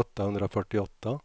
åttahundrafyrtioåtta